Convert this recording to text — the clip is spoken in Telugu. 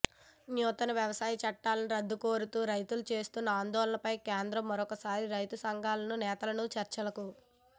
నూతన వ్యవసాయ చట్టాల రద్దు కోరుతూ రైతులు చేస్తున్న ఆందోళనపై కేంద్రం మరోసారి రైతు సంఘాల నేతలను చర్చలకు